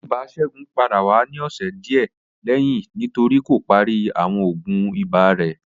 Ibà Segun pada wa ni ọsẹ diẹ lẹhinna nitori ko pari awọn oògùn iba rẹ